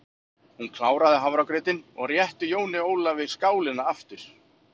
Hún kláraði hafragrautinn og rétti Jóni Ólafi skálina aftur.